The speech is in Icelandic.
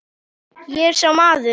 Ég er sá maður.